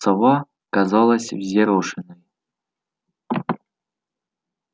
сова казалась взъерошенной